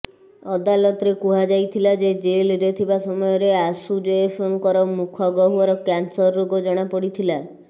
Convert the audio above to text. ଅଦାଲତରେ କୁହାଯାଇଥିଲା ଯେ ଜେଲରେ ଥିବା ସମୟରେ ଆଶୁ ଜୈଫଙ୍କର ମୁଖ ଗହ୍ବର କ୍ୟାନସର ରୋଗ ଜଣାପଡିଥିଲା